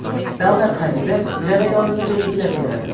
Davlat xaridi jarayonini belgilab beradi.